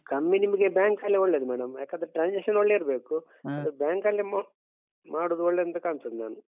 ಕಮ್ಮಿ ನಿಮಗೆ bank ಸಾಲ ಒಳ್ಳೇದು madam ಯಾಕಂದ್ರೆ transaction ಒಳ್ಳೇ ಇರ್ಬೇಕು ಮತ್ತು bank ಅಲ್ಲಿ ಮೊ ಮಾಡುದು ಒಳ್ಳೇಂತ ಕಾಣ್ತದೆ ma'am.